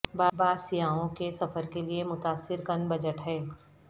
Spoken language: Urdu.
بعض سیاحوں کے سفر کے لئے متاثر کن بجٹ ہے